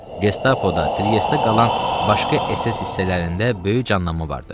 Gestapoda, Triestdə qalan başqa SS hissələrində böyük canlanma vardı.